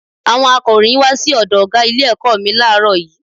Àwọn akọ̀ròyìn wá sí ọ̀dọ̀ ọ̀gá ilé ẹ̀kọ́ mi láàárò yìí